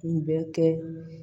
Kun bɛ kɛ